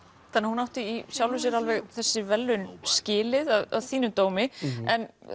hún átti í sjálfu sér alveg þessi verðlaun skilið að þínum dómi en